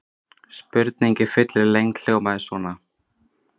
Spurningin í fullri lengd hljómaði svona: